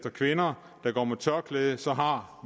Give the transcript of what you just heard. af kvinder der går med tørklæde så har